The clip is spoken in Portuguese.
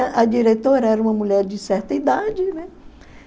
A diretora era uma mulher de certa idade, né?